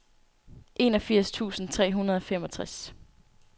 enogfirs tusind tre hundrede og femogtres